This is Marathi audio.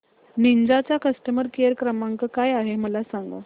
निंजा चा कस्टमर केअर क्रमांक काय आहे मला सांगा